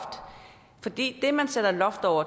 for det at man sætter loft over